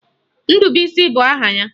Ndubuisi bụ aha ya